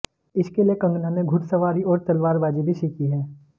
इसके लिए कंगना ने घुड़सवारी और तलवारबाजी भी सीखी है